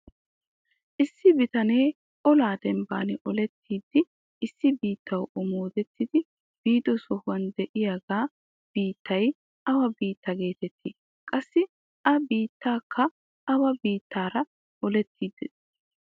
Issi bitanee olaa dembbaan olettiidi issi biittawu omoodettidi biido sohuwaan de'iyaagaa biittay awa biittaa getettii? qassi a biittiyaakka awa biittaara olettadee?